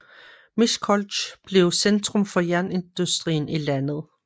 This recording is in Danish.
Miskolc blev centrum for jernindustrien i landet